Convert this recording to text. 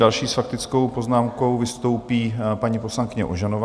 Další s faktickou poznámkou vystoupí paní poslankyně Ožanová.